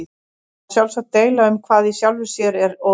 Það má sjálfsagt deila um hvað í sjálfu sér er óæskilegt.